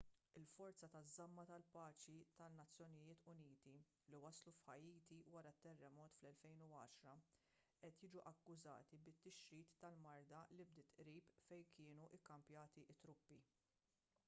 il-forżi taż-żamma tal-paċi tan-nu li waslu f'ħaiti wara t-terremot tal-2010 qed jiġu akkużati bit-tixrid tal-marda li bdiet qrib fejn kienu kkampjati t-truppi